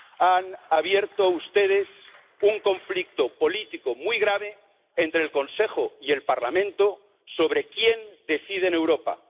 Han abierto ustedes un conflicto político muy grave entre el Consejo y el Parlamento sobre quién decide en Europa.